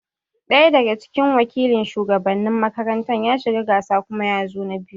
Ɗaya daga cikin wakilin shugabannin makaranta ya shiga gasa kuma yazo na biyu